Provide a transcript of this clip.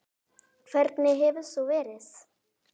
Hvernig hefur þetta verið?